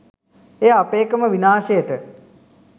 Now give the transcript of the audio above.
එය අපේකම විනාශයට